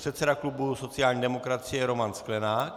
Předseda klubu sociální demokracie Roman Sklenák.